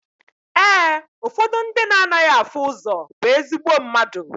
Ee, ụfọdụ ndị na anaghị afụ ụzọ bụ ezigbo mmadụ.